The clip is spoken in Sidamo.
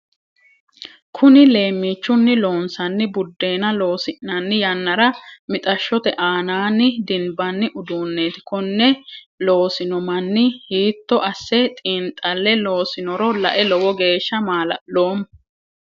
Kunni leemiichunni loonsanni budeenna loosi'nanni yannara mixashote aannanni dinbanni uduunneeti konne loosino manni hiitto ase xiinxale loosinoro lae lowo geesha maa'laloomo.